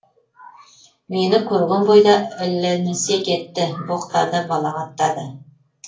мені көрген бойда ілінісе кетті боқтады балағаттады